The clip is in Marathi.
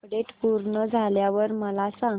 अपडेट पूर्ण झाल्यावर मला सांग